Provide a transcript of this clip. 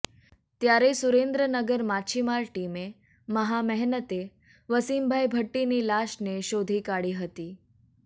ત્યારે સુરેન્દ્રનગર માચ્છીમાર ટીમે મહા મહેનતે વસીમભાઈ ભટ્ટીની લાશને શોધી કાઢી હતી